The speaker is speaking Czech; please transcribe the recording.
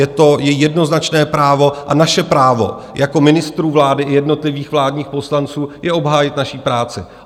Je to její jednoznačné právo a naše právo jako ministrů vlády i jednotlivých vládních poslanců je obhájit naši práci.